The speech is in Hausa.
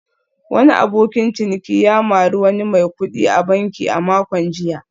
Wani abokin ciniki ya mari wani mai kudi a banki a makon jiya